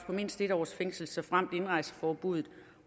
på mindst en års fængsel såfremt indrejseforbuddet